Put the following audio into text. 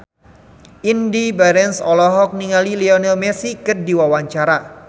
Indy Barens olohok ningali Lionel Messi keur diwawancara